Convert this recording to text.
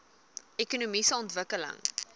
ekonomiese ontwikkeling